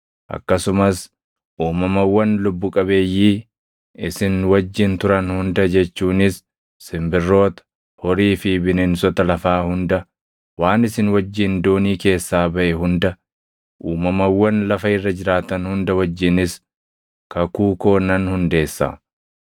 Akkasumas uumamawwan lubbu qabeeyyii isin wajjin turan hunda jechuunis simbirroota, horii fi bineensota lafaa hunda, waan isin wajjin doonii keessaa baʼe hunda, uumamawwan lafa irra jiraatan hunda wajjinis kakuu koo nan hundeessa.